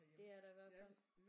Det er der i hvert fald